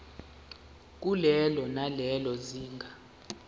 kulelo nalelo zinga